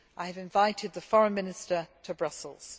I have invited the Foreign Minister to Brussels.